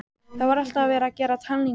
Það var alltaf verið að gera talningu.